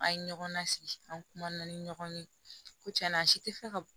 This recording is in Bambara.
An ye ɲɔgɔn lasigi an kuman na ni ɲɔgɔn ye ko tiɲɛna a si tɛ fɛ ka